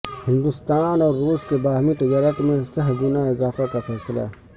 ہندوستان اور روس کے باہمی تجارت میں سہ گنا اضافہ کا فیصلہ